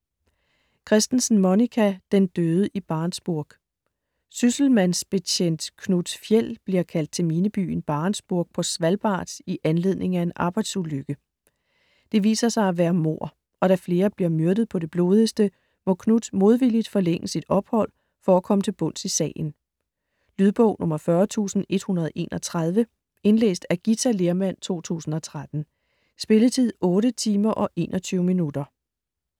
Kristensen, Monica: Den døde i Barentsburg Sysselmandsbetjent Knut Fjeld bliver kaldt til minebyen Barentsburg på Svalbard i anledning af en arbejdsulykke. Det viser sig at være mord, og da flere bliver myrdet på det blodigste, må Knut modvilligt forlænge sit ophold for at komme til bunds i sagen. Lydbog 40131 Indlæst af Githa Lehrmann, 2013. Spilletid: 8 timer, 21 minutter.